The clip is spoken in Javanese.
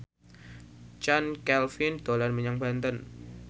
Chand Kelvin dolan menyang Banten